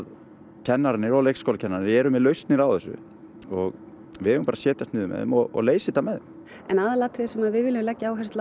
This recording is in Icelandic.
kennarar og leikskólakennarar eru með lausnir á þessu og við eigum að setjast niður með þeim og leysa þetta með þeim en aðalatriðið sem við viljum leggja áherslu á